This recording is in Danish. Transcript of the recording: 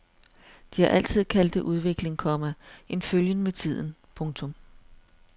De har altid kaldt det udvikling, komma en følgen med tiden. punktum